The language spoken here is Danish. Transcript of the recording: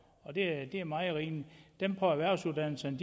og det er meget rimeligt dem på erhvervsuddannelserne